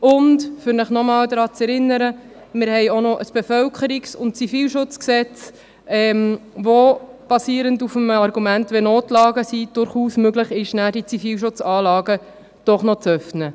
Zudem, um Sie noch einmal daran zu erinnern, haben wir auch noch ein Bundesgesetz über den Bevölkerungsschutz und den Zivilschutz (Bevölkerungs- und Zivilschutzgesetz, BZG), das – basierend auf dem Argument der Notlagen – durchaus die Möglichkeit bietet, die Zivilschutzanlagen doch noch zu öffnen.